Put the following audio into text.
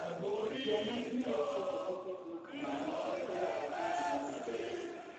Yo ma inyalo tiekgo pek ma kamano en gero ohinga momedore.